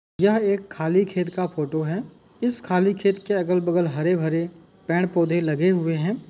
यह एक खाली खेत का फोटो है। इस खाली खेत के अगल-बगल हरे-भरे पेड़-पौधे लगे हुए हैं।